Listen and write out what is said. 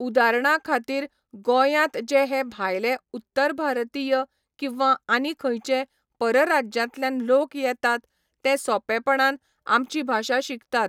उदारणा खातीर गोयांत जे हे भायले उत्तर भारतीय किंवां आनी खंयचे परराज्यांतल्यान लोक येतात ते सोपेंपणान आमची भाशा शिकतात